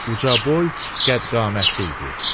Ucaboy, qəddi-qamətli idi.